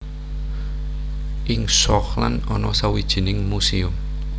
Ing Schokland ana sawijining muséum